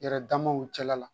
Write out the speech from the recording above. Yɛrɛ damaw cɛla la